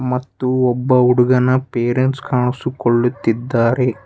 ಮತ್ತು ಒಬ್ಬ ಹುಡುಗನ ಪೇರೆಂಟ್ಸ್ ಕಾಣಿಸಿಕೊಳ್ಳುತ್ತಿದ್ದಾರೆ.